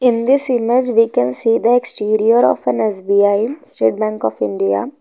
In this image we can see the exterior of an S_B_I state bank of india.